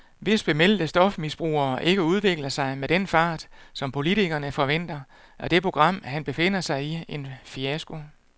Hvis bemeldte stofmisbrugere ikke udvikler sig med den fart, som politikerne forventer, er det program, han befinder sig i, en fiasko.